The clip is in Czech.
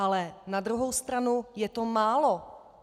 Ale na druhou stranu je to málo!